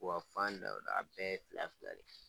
U ka fan da wo da a bɛɛ ye fila fila de ye.